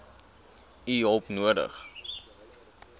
u hulp nodig